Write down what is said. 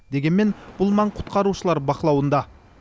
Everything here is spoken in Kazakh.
дегенмен бұл маң құтқарушылар бақылауында